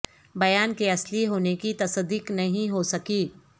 بیان کے اصلی ہونے کی تصدیق نہیں ہو سکی